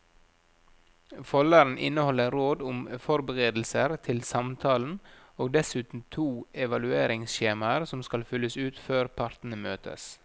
Folderen inneholder råd om forberedelser til samtalen og dessuten to evalueringsskjemaer som skal fylles ut før partene møtes.